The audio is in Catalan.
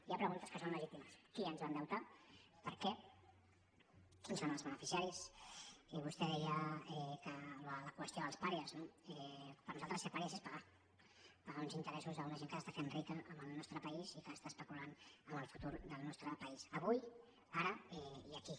hi ha preguntes que són legítimes qui ens va endeutar per què quins en són els beneficiaris vostè deia la qüestió dels pàries no per nosaltres ser pàries és pagar pagar uns interessos a una gent que s’està fent rica amb el nostre país i que està especulant amb el futur del nostre país avui ara i aquí